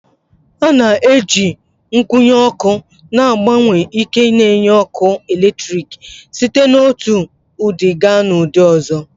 A na-eji nkwụnye ọkụ na-agbanwe ike n'enye ọkụ eletrik site n'otu ụdị gaa n'ụdị ọzọ